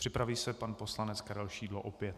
Připraví se pan poslanec Karel Šidlo, opět.